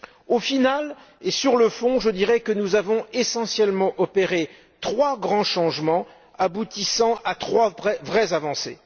Au final, et sur le fond, je dirai que nous avons essentiellement opéré trois grands changements aboutissant à trois vraies avancées.